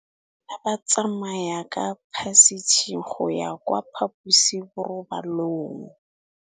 Bana ba tsamaya ka phašitshe go ya kwa phaposiborobalong.